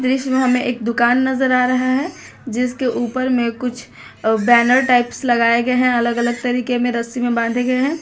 इसमें हमें एक दुकान नजर आ रहा है जिसके ऊपर में कुछ बैनर टाइप्स लगाए गए हैं अलग अलग तरीके में रस्सी में बांधे गए हैं।